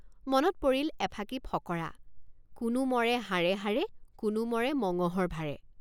মনত পৰিল এফাঁকি ফকৰা কোনো মৰে হাড়ে হাড়ে কোনো মৰে মঙহৰ ভাৰে।